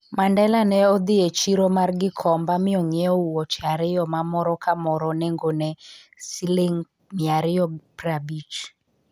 Mandela ne odhi e chiro mar Gikomba mi ong'iewo wuoche ariyo ma moro ka moro nengone ne Sh250.